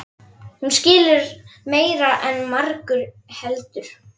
Hún skilur meira en margur heldur.